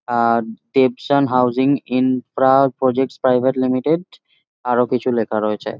আ Debshan housing infra project private limited আরো কিছু লেখা রয়েছে।